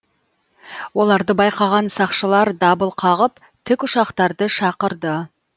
оларды байқаған сақшылар дабыл қағып тікұшақтарды шақырды